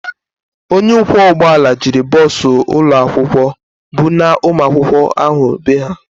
Onye ọkwọ ụgbọala jiri bọọsụ ụlọakwụkwọ bunaa ụmụakwụkwọ ahụ bee ha.